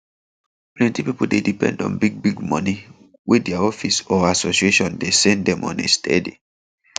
plenty pipo dey depend on bigbig money wey dia office or association dey send dem on a steady